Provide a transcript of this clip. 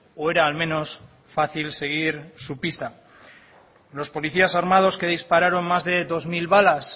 o era al menos fácil seguir su pista los policías armados que dispararon más de dos mil balas